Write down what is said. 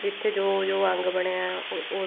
ਜਿੱਥੇ ਜੋ ਜੋ ਅੰਗ ਬਣਿਆ